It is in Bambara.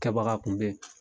Kɛbabaga kun bɛ ye.